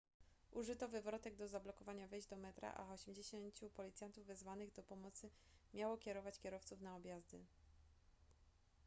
użyto wywrotek do zablokowania wejść do metra a 80 policjantów wezwanych do pomocy miało kierować kierowców na objazdy